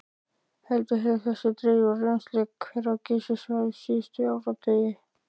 Heldur hefur dregið úr rennsli hvera á Geysissvæðinu síðustu áratugi.